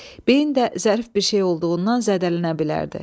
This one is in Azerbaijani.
Beyin də zərif bir şey olduğundan zədələnə bilərdi.